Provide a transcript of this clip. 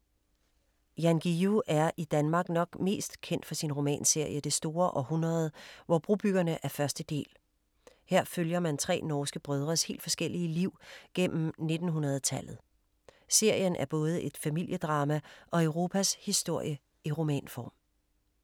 Jan Guillou er i Danmark nok mest kendt for sin romanserie Det store århundrede, hvor Brobyggerne er første del. Her følger man tre norske brødres helt forskellige liv gennem 1900-tallet. Serien er både et familiedrama og Europas historie i romanform.